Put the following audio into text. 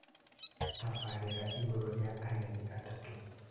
Tabarĩra igũrũ rĩa ageni atatũ